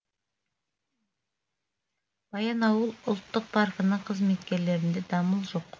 баянауыл ұлттық паркінің қызметкерлерінде дамыл жоқ